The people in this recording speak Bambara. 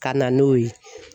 Ka na n'o ye.